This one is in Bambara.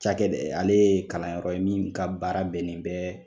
Cakɛdɛ ale ye kalanyɔrɔ ye min ka baara bɛnnen bɛɛ